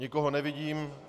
Nikoho nevidím.